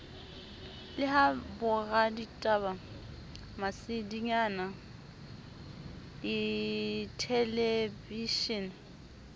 le ha boraditaba masedinyana dithelebishene